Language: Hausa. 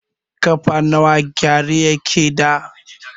Ƙafa nawa gyare yake da?